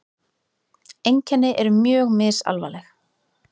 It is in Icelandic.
Einkenni eru mjög misalvarleg.